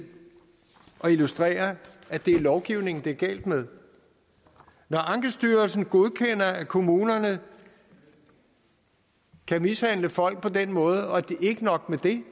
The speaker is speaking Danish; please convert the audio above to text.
at illustrere at det er lovgivningen det er galt med når ankestyrelsen godkender at kommunerne kan mishandle folk på den måde og ikke nok med det